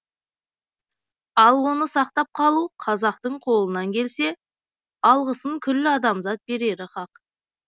ал оны сақтап қалу қазақтың қолынан келсе алғысын күллі адамзат берері хақ